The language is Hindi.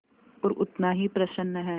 और उतना ही प्रसन्न है